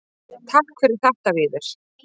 Takk fyrir þetta Víðir.